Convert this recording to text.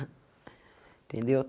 Entendeu?